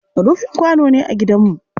Rufin kwano ne a gidanmu.